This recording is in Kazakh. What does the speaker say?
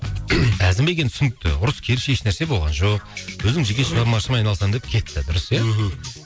әзімбек енді түсінікті ұрыс керіс еш нәрсе болған жоқ өзінің жеке шығармашылығыммен айналысамын деп кетті дұрыс иә мхм